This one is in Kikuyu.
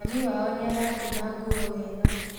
Mami wao nĩaratuma nguo wega